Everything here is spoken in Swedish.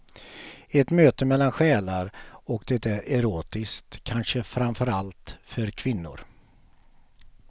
Ett möte mellan själar och det är erotiskt, kanske framför allt för kvinnor.